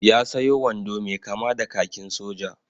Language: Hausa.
Ya sayo wando mai kama da kakin soja.